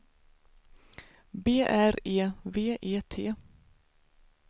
B R E V E T